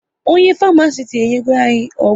Onye Farmasiti enyego anyị ọgwụ